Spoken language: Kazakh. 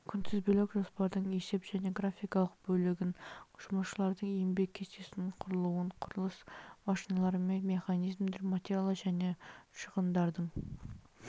күнтізбелік жоспардың есеп және графикалық бөлігін жұмысшылардың еңбек кестесінің құрылуын құрылыс машиналары мен механизмдер материал және шығындардың